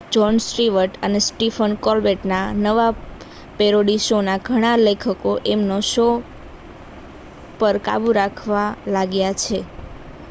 John Stewart અને Stephen Colbert ના નવા પેરોડી શો ના ઘણા લેખકો એમના શો પર કાબૂ રાખવા લાગ્યા છે